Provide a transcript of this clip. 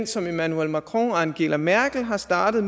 som emmanuel macron og angela mergel har startet